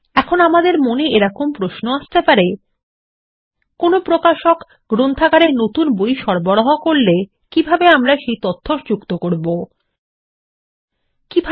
এখন আমাদের মনে এরকম প্রশ্ন আসতে পারে160 কোনো প্রকাশক গ্রন্থাগারে নতুন বই সরবরাহ করলে কিভাবে আমরা সেই তথ্য যুক্ত করব160